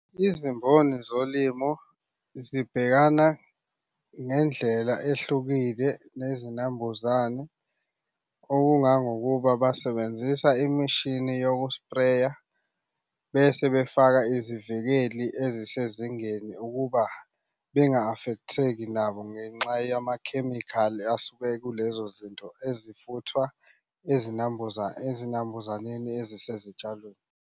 Izimboni zolimo zibhekana ngendlela ehlukile nezinambuzane. Okungangokuba basebenzisa imishini yokuspreya, bese befaka izivikeli ezisezingeni ukuba benga-affect-theki nabo ngenxa yamakhemikhali asuke ekulezo zinto ezifuthwa ezinambuzaneni ezisezitshalweni.